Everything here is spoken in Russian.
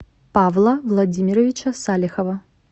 павла владимировича салихова